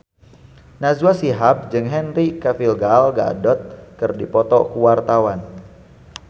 Najwa Shihab jeung Henry Cavill Gal Gadot keur dipoto ku wartawan